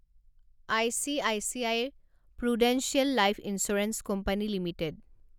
ICICI Prudential life insurance company limited